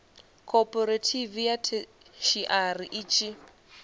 khophorethivi ya theshiari i tshi